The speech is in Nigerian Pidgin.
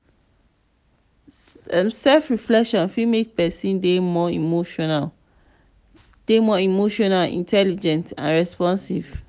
self reflection fit make person dey more emotionally dey more emotionally intelligent and responsive